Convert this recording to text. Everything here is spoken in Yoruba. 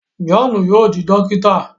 Johnu yóò di dokita